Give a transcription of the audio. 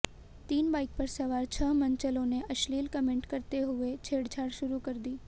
तीन बाइक पर सवार छह मनचलों ने अश्लील कमेंट करते हुए छेड़छाड़ शुरू कर दी